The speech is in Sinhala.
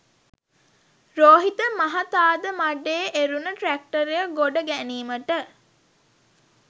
රෝහිත මහතාද මඬේ එරුන ට්‍රැක්ටරය ගොඩ ගැනීමට